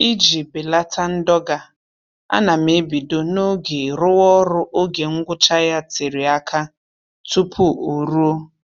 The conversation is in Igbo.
Iji belata ndọga, ana m ebido n'oge rụwa ọrụ oge ngwụcha ya tere aka tupu o ruo